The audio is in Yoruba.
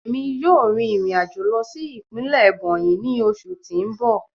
Emi yoo rin irin ajo lọ si ipinlẹ Ebonyi ni oṣu ti n bọ.